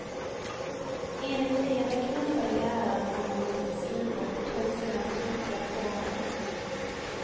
Enligt eleven knuffade läraren honom mot ett skrivbord och tog sedan strupgrepp på honom.